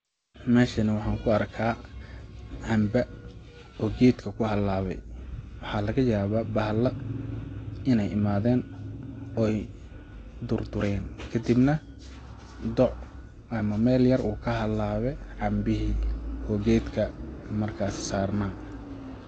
Meshani waxaan kuarkaa camba oo gedka ku halaawe waxaa lagayabaa bahala inay imaaden ooy durdureen kadib nah doc ama meel yar uu ka halaawe cambihi oo gedka markaasi sarnaa.